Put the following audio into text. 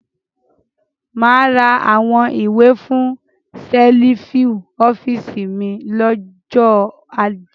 Mà á ra àwọn ìwé fún ṣẹ́lífù office mi lọ́jọ́ ajé.